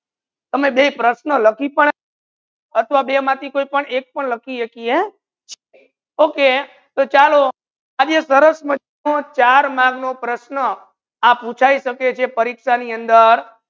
આમે બે પ્રશ્ન લખી પણ અથવા બે માથી કોઈ પણ એક પણ લખી સકીએ okay તો ચાલો આજે સરસ મજાનો ચાર માર્ગ નુ પ્રશ્ન આ પુચાઈ સકે છે પરીક્ષા ની અંદર